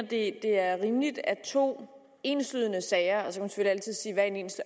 det er rimeligt at to enslydende sager